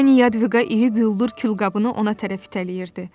Pani Yadviqa iri bildur külqabını ona tərəf itələyirdi.